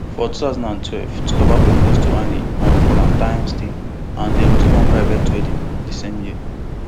for two thousand and twelve twobaba propose to annie on valentines day and dem do one private wedding di same year